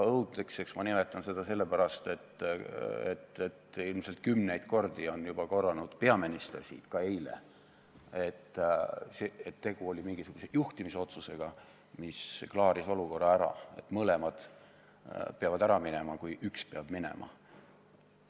Õudseks nimetan ma seda sellepärast, et ilmselt kümneid kordi on peaminister siin juba korranud, ka eile, et tegu oli mingisuguse juhtimisotsusega, mis klaaris olukorra ära – mõlemad peavad ära minema, kui üks peab minema.